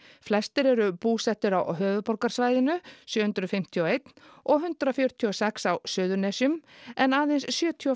flestir eru búsettir á höfuðborgarsvæðinu sjö hundruð fimmtíu og eitt og hundrað fjörutíu og sex á Suðurnesjum en aðeins sjötíu og